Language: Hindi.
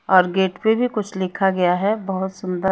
और गेट पे भी कुछ लिखा गया है बहोत सुंदर--